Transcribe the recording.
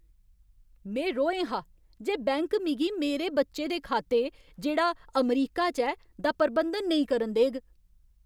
में रोहें हा जे बैंक मिगी मेरे बच्चे दे खाते, जेह्ड़ा अमरीका च ऐ, दा प्रबंधन नेईं करन देग।